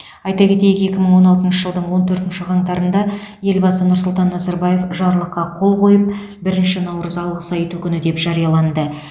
айта кетейік екі мың он алтыншы жылдың он төртінші қаңтарында елбасы нұрсұлтан назарбаев жарлыққа қол қойып бірінші наурыз алғыс айту күні деп жарияланды